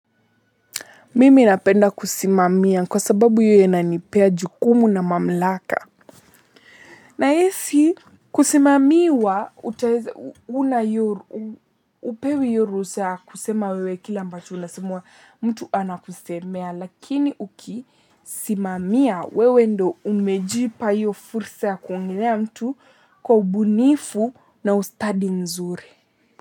Mimi napenda kusimamia kwa sababu hiyo inanipea jukumu na mamlaka. Nahisi kusimamiwa, utaeza hupewi iyo ruhusa ya kusema wewe kila ambacho unasemwa mtu anakusemea. Lakini ukisimamia, wewe ndio umejipa iyo fursa ya kuongelea mtu kwa ubunifu na ustadi nzuri.